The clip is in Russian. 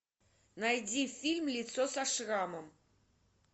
найди фильм лицо со шрамом